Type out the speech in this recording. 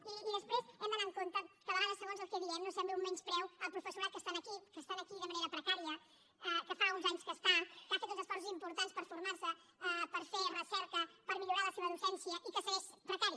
i després hem d’anar amb compte que a vegades segons el que diem no sembli un menyspreu al professorat que està aquí que està aquí de manera precària que fa uns anys que hi està que ha fet uns esforços importants per formar se per fer recerca per millorar la seva docència i que segueix precari